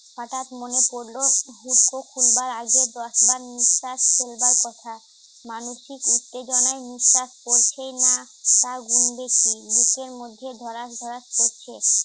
হঠাৎ মনে পড়ল হুর্ক খুলবার আগে দশবার নিঃশ্বাস ফেলবার কথা মানসিক উত্তেজনার নিঃশ্বাস পড়ছে ই না তা গুনবে কি বুকের মধ্যে ধরাস ধরাস করছে